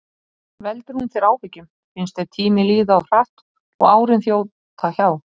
Veldur hún þér áhyggjum, finnst þér tíminn líða of hratt og árin þjóta hjá?